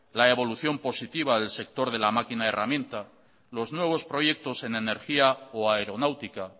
la evolución positiva del sector de la máquina herramienta los nuevos proyectos en energía o aeronáutica